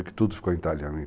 tudo ficou em italiano.